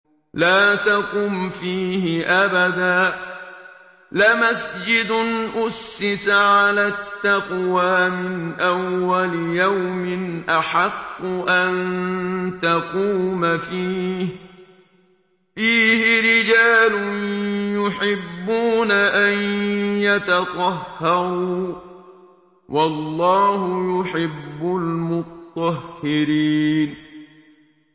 لَا تَقُمْ فِيهِ أَبَدًا ۚ لَّمَسْجِدٌ أُسِّسَ عَلَى التَّقْوَىٰ مِنْ أَوَّلِ يَوْمٍ أَحَقُّ أَن تَقُومَ فِيهِ ۚ فِيهِ رِجَالٌ يُحِبُّونَ أَن يَتَطَهَّرُوا ۚ وَاللَّهُ يُحِبُّ الْمُطَّهِّرِينَ